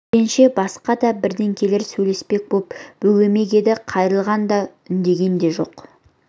жиренше басқа да бірдеңелер сөйлеспек боп бөгемек еді қайрылған да үндеген де жоқ